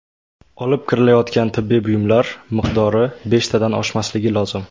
Olib kirilayotgan tibbiy buyumlar miqdori beshtadan oshmasligi lozim.